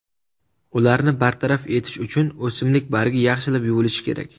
Ularni bartaraf etish uchun o‘simlik bargi yaxshilab yuvilishi kerak.